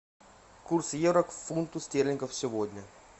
курс евро к фунту стерлингов сегодня